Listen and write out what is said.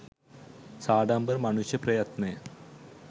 සාඩම්බර මනුෂ්‍ය ප්‍රයත්නය